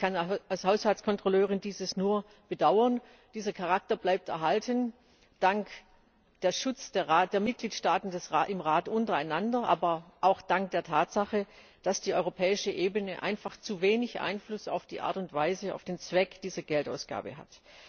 Ich kann dies als Haushaltskontrolleurin nur bedauern, dieser Charakter bleibt dank dem Schutz der Mitgliedstaaten im Rat untereinander erhalten, aber auch Dank der Tatsache, dass die europäische Ebene einfach zu wenig Einfluss auf die Art und Weise und den Zweck dieser Geldausgabe hat.